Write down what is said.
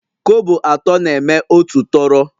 Kobo atọ na-eme otu tọrọ